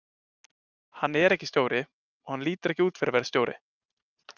Hann er ekki stjóri og hann lítur ekki út fyrir að vera stjóri,